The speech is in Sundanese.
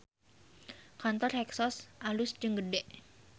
Kantor Hexos alus jeung gede